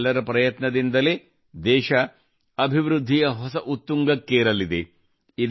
ನಮ್ಮೆಲ್ಲರ ಪ್ರಯತ್ನದಿಂದಲೇ ದೇಶ ಅಭಿವೃದ್ಧಿಯ ಹೊಸ ಉತ್ತುಂಗಕ್ಕೆರಲಿದೆ